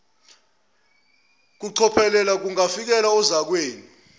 kucophelela kungavikela ozakwenu